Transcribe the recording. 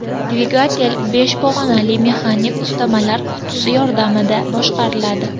Dvigatel besh pog‘onali mexanik uzatmalar qutisi yordamida boshqariladi.